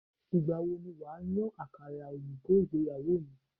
Ìgbà wo ni wà á yan àkàrà òyìnbó ìgbéyàwó mi?